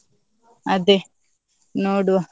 ಅದೇ, ನೋಡುವ.